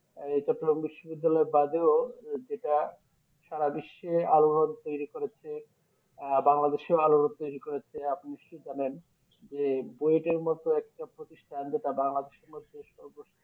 বিশ্ব বিদ্যালয় যেটা সারা বিশ্বে আলোড়ন তৈরী করেছে আহ বাংলাদেশে ও আলোড়ন তৈরী করেছে আপনি নিশ্চই জানেন যে মতো একটা প্রতিষ্ঠান যেটা বাংলাদেশের মধ্যে সর্ব